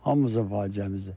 Hamımızın faciəmizdir.